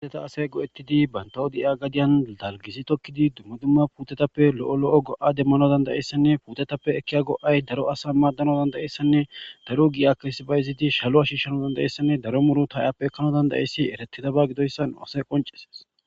huteta asay go7ettidi bantawo di7iya gadiyan lalgizi tokkidi dumma dumma puutetappe lo7o lo7o go7a demmano dandayessanne puutetappe ekkiya go7ay daro asa maaddana dandayessanne daru gi7a krisiba izidi shalo ashishshano dandayessanne daro muru taayappe ekkano dandayissi eretidaba gidoyssan asey qonceses